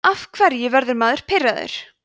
af hverju verður maður pirraður